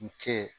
U kɛ